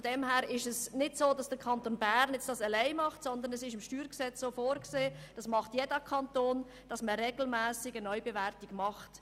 Der Kanton Bern macht es nicht alleine, sondern es ist im StG vorgesehen, und jeder Kanton nimmt regelmässig eine Neubewertung vor.